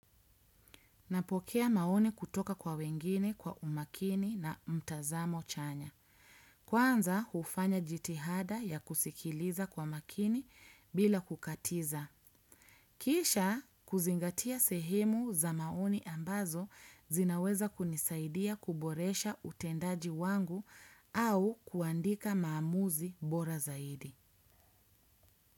Napokea maoni kutoka kwa wengine kwa umakini na mtazamo chanya. Kwanza, hufanya jitihada ya kusikiliza kwa makini bila kukatiza. Kisha, kuzingatia sehimu za maoni ambazo zinaweza kunisaidia kuboresha utendaji wangu au kuandika maamuzi bora zaidi.